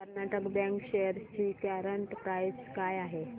Karnataka bank shares ची current price काय आहे